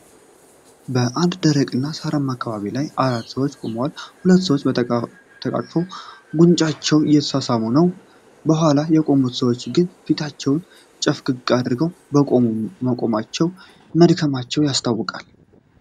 በአንድ ደረቅ እና ሳራማ አካባቢ ላይ አራት ሰዎች ቆመዋል፤ ሁለቱ ሰዎች ተቃቅፈው ጉንጫቸውን እየተሳሳሙ ነው። ከኋላ የቆሙት ሰዎች ግን ፊታቸውን ጨፍገግ አድርገው መቆማቸው መድከማቸውን ያስታውቃል።